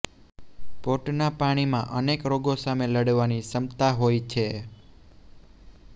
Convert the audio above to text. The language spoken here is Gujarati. પોટના પાણીમાં અનેક રોગો સામે લડવાની ક્ષમતા હોય છે